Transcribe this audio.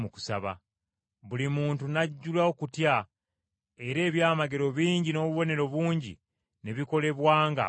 Buli muntu n’ajjula okutya era ebyamagero bingi n’obubonero bungi ne bikolebwanga abatume.